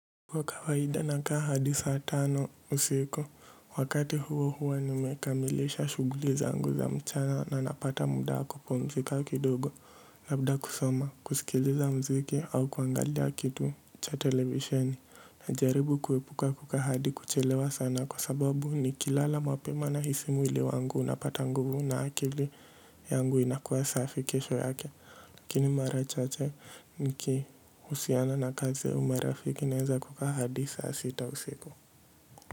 Kwa kawaida nakaa hadi saa tano usiku, wakati huohuo nimekamilisha shughuli zangu za mchana na napata muda wa kupumzika kidogo, labda kusoma, kusikiliza mziki au kuangalia kitu cha televisheni, najaribu kuepuka kukaa hadi kuchelewa sana kwa sababu nikilala mapema nahisi mwili wangu unapata nguvu na akili yangu inakuwa safi kesho yake. Lakini marachache nikihusiana na kaze umerafiki naweza kukaa hadi saa sita usiku.